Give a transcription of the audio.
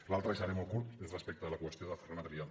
l’altra i seré molt curt és respecte a la qüestió de ferran adrià